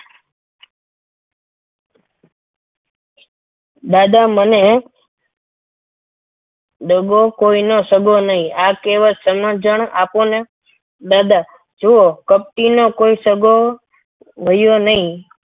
દાદા મને દગો કોઈનો સગો નહીં આ કહેવત ની સમજણ આપોને દાદા જો કપટી નો કોઈ સગો રહ્યો નહીં.